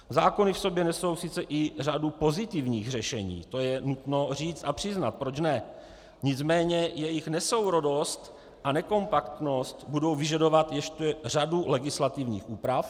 Zákony v sobě nesou sice i řadu pozitivních řešení, to je nutno říci a přiznat, proč ne, nicméně jejich nesourodost a nekompaktnost budou vyžadovat ještě řadu legislativních úprav.